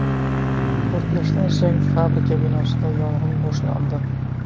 Portlashdan so‘ng fabrika binosida yong‘in boshlandi.